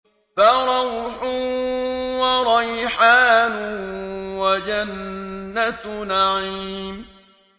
فَرَوْحٌ وَرَيْحَانٌ وَجَنَّتُ نَعِيمٍ